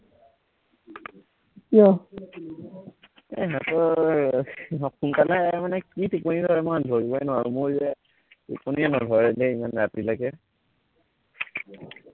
আহ ইহঁতৰ সোনকালে মানে কি টোপনী ধৰে মই ধৰিবই নোৱাৰো মোৰ যে টোপনীয়েই নধৰে দেই ইমান ৰাতিলৈকে